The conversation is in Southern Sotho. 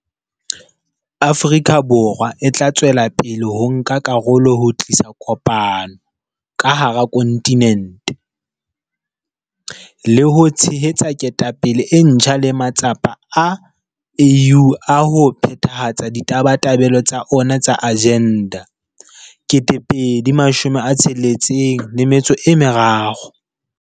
Afrika Borwa e tla tswela pele ho nka karolo ho tlisa kopano ka hara kontinente, le ho tshehetsa ketapele e ntjha le matsapa a AU a ho phethahatsa ditabatabelo tsa ona tsa Agenda 2063.